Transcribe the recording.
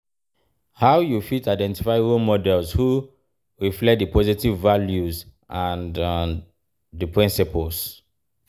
how you fit identify role models who reflect di positive values and di principles?